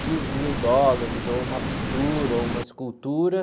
Xis mil dólares, ou uma pintura, ou uma escultura.